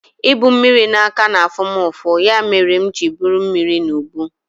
I bu mmiri n'aka na-afụ mụ ụfụ, ya mere mụ ji ebu mmiri n'ubu